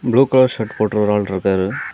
Blue colour shirt போட்ட ஒரு ஆள் இருக்காரு.